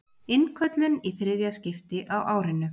Innköllun í þriðja skipti á árinu